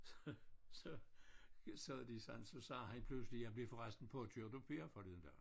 Så så sad de sådan så sagde han pludselig jeg blev for resten påkørt at Per forleden dag